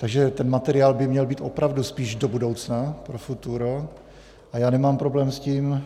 Takže ten materiál by měl být opravdu spíš do budoucna, pro futuro, a já nemám problém s tím,